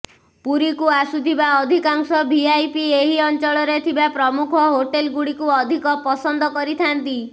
ପୁରୀକୁ ଆସୁଥିବା ଅଧିକାଂଶ ଭିଆଇପି ଏହି ଅଞ୍ଚଳରେ ଥିବା ପ୍ରମୁଖ ହୋଟେଲଗୁଡ଼ିକୁ ଅଧିକ ପସନ୍ଦ କରିଥାନ୍ତି